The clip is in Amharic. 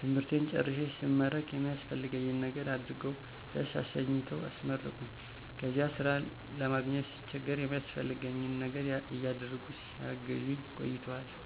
ትምህርቴን ጨርሴ ስመረቅ የሚያስፈልገኝን ነገር አድርገዉ ደስ አሰኝተዉ አስመረቁኝ"ከዚያ ስራ ለማግኘት ስቸገር የሚያስፈልገኝን ነገር እያደረጉ ሲያግዙኝ ቆይተዋል።